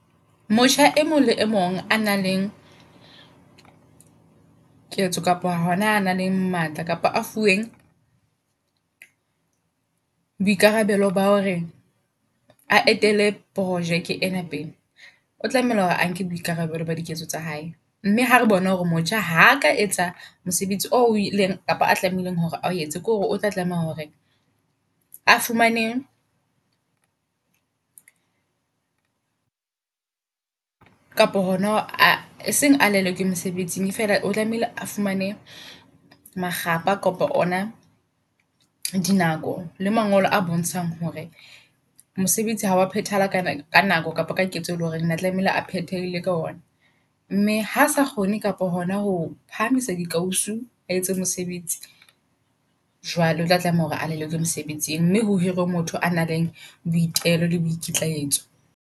Motjha e mong le e mong a nang le] ketso kapo hona a nang le matla kapa a fuweng boikarabelo ba hore a etele projeke ena pele. O tlameha hore a nke boikarabelo ba diketso tsa hae. Mme hare bona hore motjha haka etsa mosebetsi o ileng kapa a tlamehileng hore ao etse. Ke hore o tla tlameha hore a fumane kapa hona a e seng a lelekwe mosebetsi, fela o tlamehile a fumane makgapha kolapa ona di nako. Le mangolo a bontshang hore mosebetsi hawa phethehala ka ka nako kapa ka ketso e leng hore ona tlamehile a phethehile ka ona. Mme hasa kgone kapa hona ho phahamisa di kausu, a etse mosebetsi. Jwale otla tlameha hore a lelekwe mosebetsing mme ho hirwe motho a nang le boitelo le boikitlaetso.